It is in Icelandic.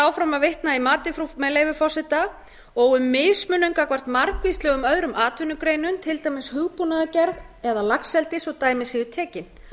áfram að vitna í matið með leyfi forseta og um mismunun gagnvart margvíslegum öðrum atvinnugreinum til dæmis hugbúnaðargerð eða laxeldi svo dæmi séu tekin